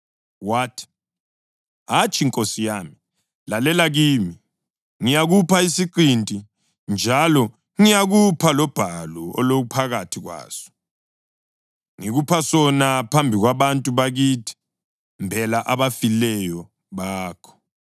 Wathi, “Hatshi, nkosi yami. Lalela kimi; ngiyakupha isiqinti, njalo ngiyakupha lobhalu oluphakathi kwaso. Ngikupha sona phambi kwabantu bakithi. Mbela abafileyo bakho.”